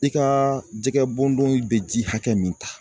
I ka jɛgɛ bondon bɛ ji hakɛ min ta